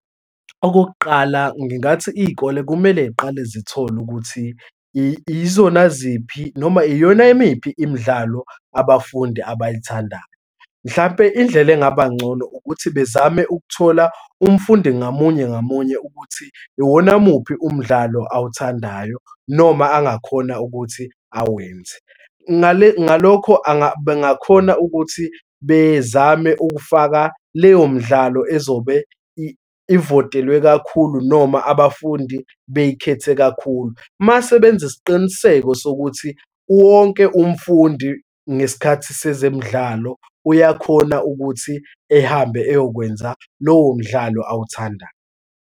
Okokuqala, ngingathi iy'kole kumele yiqale zithole ukuthi izona ziphi noma iyona miphi imidlalo abafundi abayithandayo. Mhlampe indlela engaba ngcono ukuthi bezame ukuthola umfundi ngamunye ngamunye ukuthi iwona muphi umdlalo awuthandayo noma angakhona ukuthi awenze. Ngalokho bengakhona ukuthi bezame ukufaka leyo mdlalo ezobe ivotelwe kakhulu noma abafundi beyikhetha kakhulu. Mase benza isiqiniseko sokuthi wonke umfundi, ngesikhathi sezemidlalo, uyakhona ukuthi ehambe eyokwenza lowo mdlalo awuthandayo.